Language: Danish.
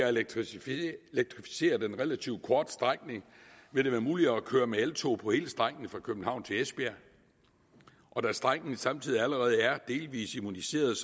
at elektrificere den relativt korte strækning vil det være muligt at køre med eltog på hele strækningen fra københavn til esbjerg og da strækningen samtidig allerede er delvis immuniseret